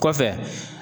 Kɔfɛ